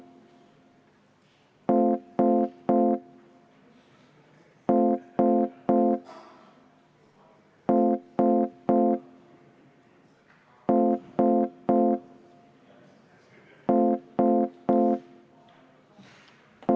Juhtivkomisjoni ettepanek on panna eelnõu 64 lõpphääletusele.